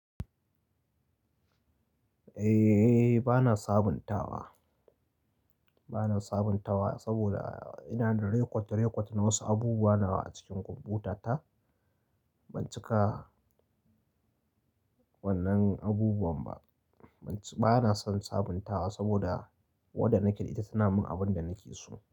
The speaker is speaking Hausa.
Eh, bana sabuntawa, bana sabuntawa saboda ina da rekot-rekot na wasu abubuwa nawa a cikin kwamfutata. Ban cika, wannan abubuwan ba. Ba na son sabuntawa saboda wadda nake da ita suna min abin da nake so.